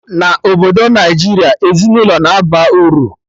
Na Obodo Naijiria, ezinaụlọ na aba uru